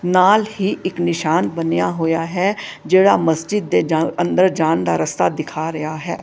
ਨਾਲ ਹੀ ਇੱਕ ਨਿਸ਼ਾਨ ਬਣਿਆ ਹੋਇਆ ਹੈ ਜਿਹੜਾ ਮਸਜਿਦ ਦੇ ਜਾਂ ਅੰਦਰ ਜਾਨ ਦਾ ਰਸਤਾ ਦਿਖਾ ਰਿਹਾ ਹੈ।